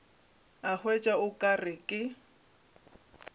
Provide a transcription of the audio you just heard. a hwetša o ka re